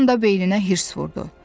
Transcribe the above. Bir anda beyninə hirs vurdu.